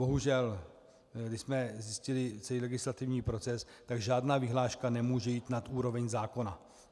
Bohužel když jsme zjistili celý legislativní proces, tak žádná vyhláška nemůže jít nad úroveň zákona.